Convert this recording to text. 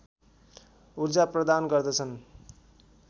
उर्जा प्रदान गर्दछन्